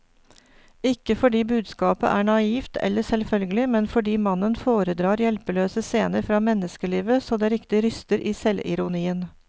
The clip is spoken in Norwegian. Ikke fordi budskapet er naivt eller selvfølgelig, men fordi mannen foredrar hjelpeløse scener fra menneskelivet så det riktig ryster i selvironien.